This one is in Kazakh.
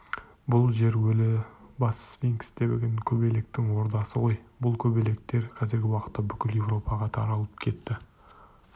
бұл жер өлі бас сфинкс деген көбелектің ордасы ғой бұл көбелектер қазіргі уақытта бүкіл еуропаға таралып кетті